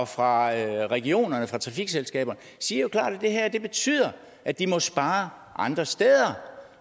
fra regionerne og fra trafikselskaberne siger jo klart at det her betyder at de må spare andre steder